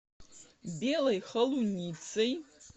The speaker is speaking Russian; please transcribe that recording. белой холуницей